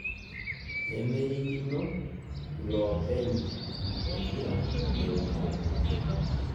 nemerikino ilopenye emmpira leungana